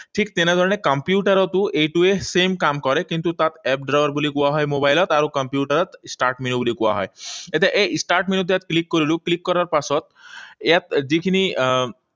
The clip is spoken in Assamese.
ঠিক তেনেধৰণে কম্পিউটাৰতো এইটোৱে same কাম কৰে। কিন্তু তাত app drawer বুলি কোৱা হয় মোবাইলত আৰু কম্পিউটাৰত start menu বুলি কোৱা হয়। এতিয়া এই start menu টো ইয়াত click কৰিলো, click কৰাৰ পাছত ইয়াত যিখিনি আহ